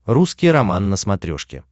русский роман на смотрешке